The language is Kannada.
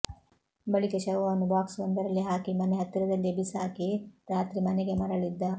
ಬಳಿಕ ಶವವನ್ನು ಬಾಕ್ಸ್ ಒಂದರಲ್ಲಿ ಹಾಕಿ ಮನೆ ಹತ್ತಿರದಲ್ಲಿಯೇ ಬೀಸಾಕಿ ರಾತ್ರಿ ಮನೆಗೆ ಮರಳಿದ್ದ